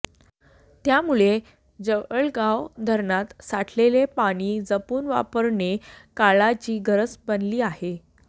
त्यामुळे जवळगाव धरणात साठलेले पाणी जपून वापरणे काळाची गरज बनली आहे